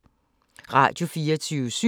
Radio24syv